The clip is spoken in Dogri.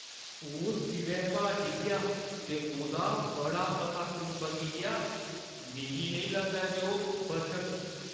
ओह् सिरै भार डिग्गेआ ते ओह्‌दा बड़ा मता खून बगी गेआ। मिगी नेईं लगदा जे ओह् बचग।